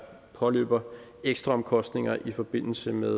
påløber ekstraomkostninger i forbindelse med